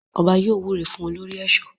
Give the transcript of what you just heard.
Ọba yóò wúre fún olórí ẹ̀ṣọ́.